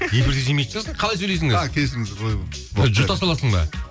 эфирде жемейтін шығарсың қалай сөйлесің қазір жұта саласың ба